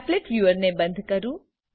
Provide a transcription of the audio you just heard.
applet viewer ને બંદ કરું